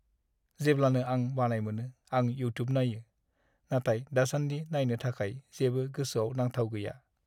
जेब्लानो आं बानाय मोनो, आं इउटुब नायो। नाथाय दासानदि नायनो थाखाय जेबो गोसोआव नांथाव गैया।